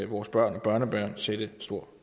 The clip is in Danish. vores børn og børnebørn sætte stor